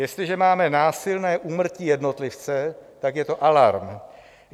Jestliže máme násilné úmrtí jednotlivce, tak je to alarm.